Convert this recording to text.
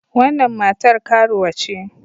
Wannan matar karuwa ce.